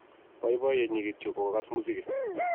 boiboiyet nnnyi kityo ko kogas muziki